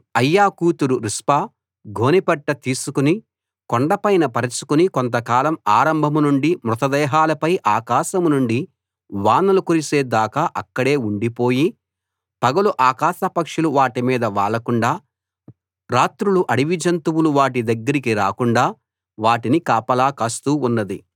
అయ్యా కూతురు రిస్పా గోనెపట్ట తీసుకు కొండపైన పరచుకుని కోతకాలం ఆరంభం నుండి మృతదేహాలపై ఆకాశం నుండి వానలు కురిసే దాకా అక్కడే ఉండిపోయి పగలు ఆకాశపక్షులు వాటిమీద వాలకుండా రాత్రులు అడవి జంతువులు వాటి దగ్గరికి రాకుండా వాటిని కాపలా కాస్తూ ఉన్నది